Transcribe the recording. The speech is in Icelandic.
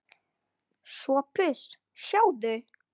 SOPHUS: Sjáðu!